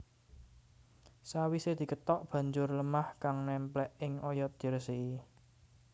Sawisé dikethok banjur lêmah kang némplék ing oyot dirêsiki